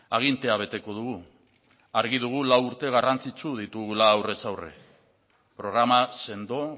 agintea beteko dugu argi dugu lau urte garrantzitsu ditugula aurrez aurre programa sendo